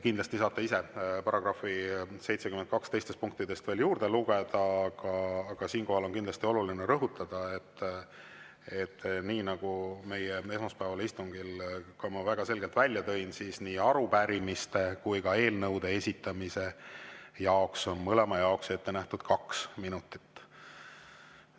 " Kindlasti saate § 72 teistest punktidest ise veel juurde lugeda, aga siinkohal on kindlasti oluline rõhutada, nagu ma ka esmaspäevasel istungil väga selgelt välja tõin: nii arupärimiste kui ka eelnõude esitamise jaoks, mõlema jaoks on ette nähtud kaks minutit.